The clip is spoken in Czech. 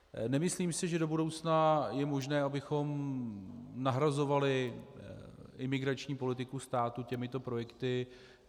Nemyslím si, že do budoucna je možné, abychom nahrazovali imigrační politiku státu těmito projekty.